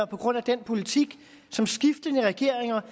på grund af den politik som skiftende regeringer